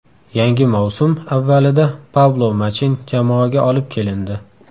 Yangi mavsum avvalida Pablo Machin jamoaga olib kelindi.